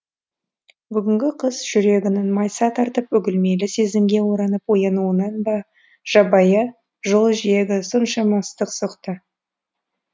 бүгінгі қыз жүрегінің майса тартып үгілмелі сезімге оранып оянуынан ба жабайы жол жиегі соншама ыстық соқты